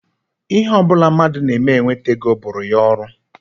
Ihe ọ bụla mmadụ na-eme o ji enweta ego bụụrụ ya ọrụ